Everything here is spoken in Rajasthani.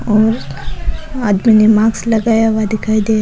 और आदमी ने मास्क लगाया हुआ दिखाई दे --